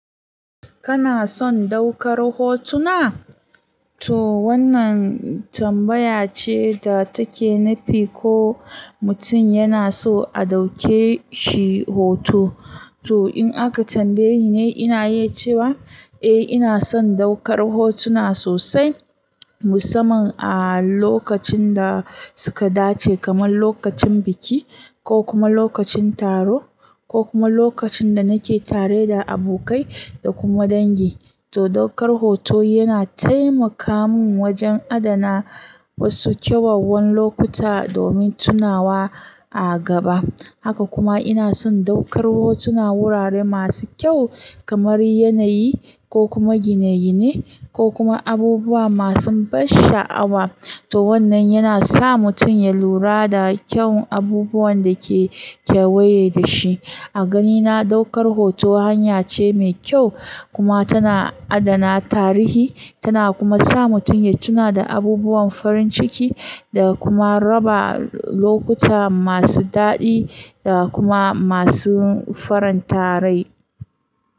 Kana son ɗaukar hotuna? To wannan tambaya ce da take nufi ko mutum yana so a ɗauke shi hoto. To in aka tambaye ni ne, ina iya cewa eh ina son ɗaukar hotuna sosai. Musamman a lokacin da suka dace kamar lokacin biki ko kuma lokacin taro ko kuma lokacin da nake tare da abokai da kuma dangi. To ɗaukar hoto yana taimaka min wajen adana wasu kyawawan lokuta domin tunawa a gaba. Haka kuma ina son ɗaukar hotunan wurare masu kyau kamar yanayi ko kuma gine-gine ko kuma abubuwa masu ban sha'awa. To wannan yana sa mutum ya lura da kyawun abubuwan da ke kewaye da shi. A ganina ɗaukar hoto hanya ce mai kyau kuma tana adana tarihi, tana kuma sa mutum ya tuna da abubuwan farin ciki da kuma raba lokuta masu daɗi da kuma masu faranta rai.